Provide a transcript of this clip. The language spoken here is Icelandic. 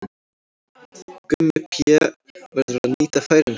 Gummi Pé verður að nýta færin sín!